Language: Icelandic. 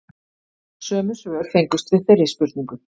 Sömu svör fengust við þeirri spurningu